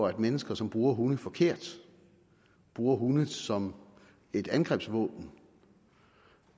at mennesker som bruger hunde forkert bruger hunde som et angrebsvåben